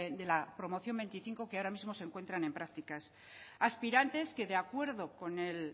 de la promoción veinticinco que ahora mismo se encuentran en prácticas aspirantes que de acuerdo con el